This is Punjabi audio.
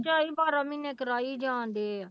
ਝਾਈ ਬਾਰਾਂ ਮਹੀਨੇ ਕਰਾਈ ਜਾਣਡੇ ਹੈ।